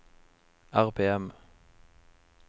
RPM